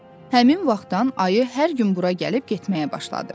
Həmin vaxtdan ayı hər gün bura gəlib getməyə başladı.